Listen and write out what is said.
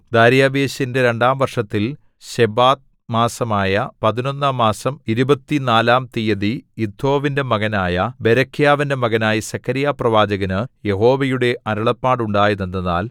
ദാര്യാവേശിന്റെ രണ്ടാം വർഷത്തിൽ ശെബാത്ത് മാസമായ പതിനൊന്നാം മാസം ഇരുപത്തുനാലാം തീയതി ഇദ്ദോവിന്റെ മകനായ ബെരെഖ്യാവിന്റെ മകനായ സെഖര്യാപ്രവാചകന് യഹോവയുടെ അരുളപ്പാട് ഉണ്ടായതെന്തെന്നാൽ